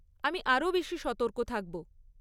আমি আরও বেশি সতর্ক থাকব।